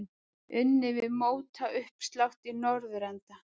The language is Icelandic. Unnið við mótauppslátt í norðurenda.